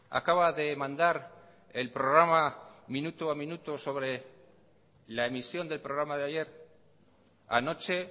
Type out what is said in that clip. acaba de mandar el programa minuto a minuto sobre la emisión del programa de ayer anoche